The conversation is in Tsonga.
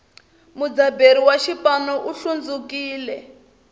mudzaberi wa xipanu u hlundzukile